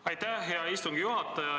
Aitäh, hea istungi juhataja!